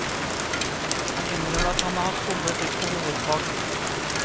Han innrømmer at han har somlet litt på hovedfag.